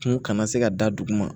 Kun kana se ka da duguma